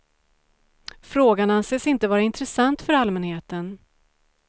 Frågan anses inte vara intressant för allmänheten.